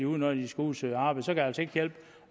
ud når de skal ud at søge arbejde det kan altså ikke hjælpe